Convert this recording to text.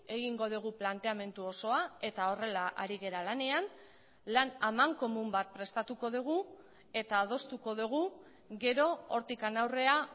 egingo dugu planteamendu osoa eta horrela ari gara lanean lan amankomun bat prestatuko dugu eta adostuko dugu gero hortik aurrera